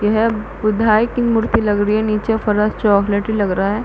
ये है बुधाई मूर्ति लग रही है निचे फर्श चॉकलेटी लग रहा है।